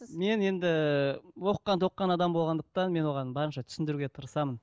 мен енді оқыған тоқыған адам болғандықтан мен оған барынша түсіндіруге тырысамын